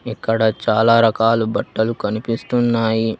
ఇక్కడ చాలా రకాలు బట్టలు కనిపిస్తున్నాయి.